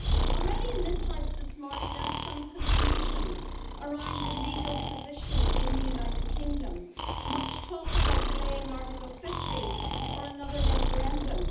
Already in this House this morning, there is some confusion around the legal position in the United Kingdom, much talk about delaying Article 50 or another referendum.